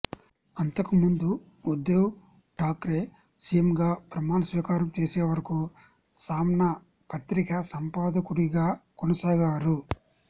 అంతకుముందు ఉద్దవ్ ఠాక్రే సీఎంగా ప్రమాణస్వీకారం చేసే వరకు సామ్నా పత్రిక సంపాదకుడిగా కొనసాగారు